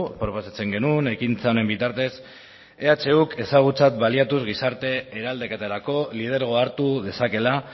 proposatzen genuen ekintza honen bitartez ehuk ezagutzat baliatuz gizarte eraldaketarako lidergoa hartu dezakeela